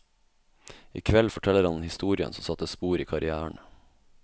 I kveld forteller han historien som satte spor i karrièren.